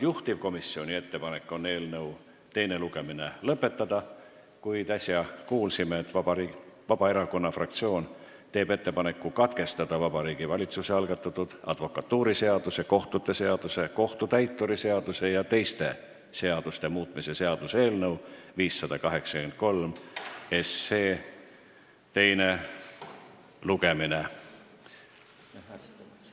Juhtivkomisjoni ettepanek on eelnõu teine lugemine lõpetada, kuid äsja kuulsime, et Vabaerakonna fraktsioon teeb ettepaneku Vabariigi Valitsuse algatatud advokatuuriseaduse, kohtute seaduse, kohtutäituri seaduse ja teiste seaduste muutmise seaduse eelnõu 583 teine lugemine katkestada.